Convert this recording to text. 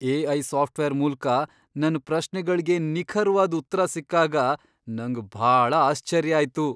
AI. Software ಮೂಲ್ಕ ನನ್ ಪ್ರಶ್ನೆಗಳ್ಗೆ ನಿಖರ್ವಾದ್ ಉತ್ರ ಸಿಕ್ಕಾಗ ನಂಗ್ ಭಾಳ ಆಶ್ಚರ್ಯ ಆಯ್ತು.